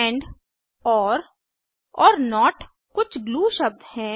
and or और not कुछ glue शब्द हैं